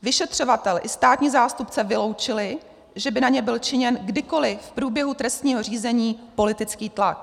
Vyšetřovatel i státní zástupce vyloučili, že by na ně byl činěn kdykoliv v průběhu trestního řízení politický tlak.